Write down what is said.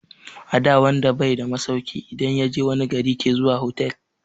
Ada wanda bai da masauki idan yaje wani gari ke zuwa hotal